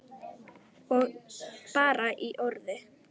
Og ekki bara í orði.